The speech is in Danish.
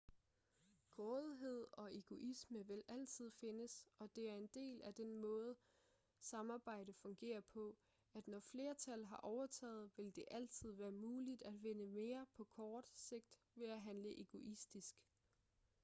grådighed og egoisme vil altid findes og det er en del af den måde samarbejde fungerer på at når flertallet har overtaget vil det altid være muligt at vinde mere på kort sigt ved at handle egoistisk